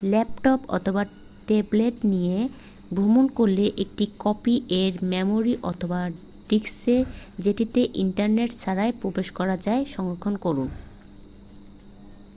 Laptop অথবা tablet নিয়ে ভ্রমণ করলে একটি কপি এর মেমোরি অথবা ডিস্কে যেটিতে ইন্টারনেট ছাড়াই প্রবেশ করা যায় সংরক্ষণ করুন।